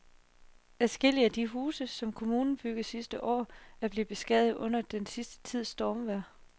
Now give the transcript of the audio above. Adskillige af de huse, som kommunen byggede sidste år, er blevet beskadiget under den sidste tids stormvejr.